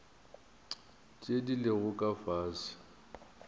tše di lego ka fase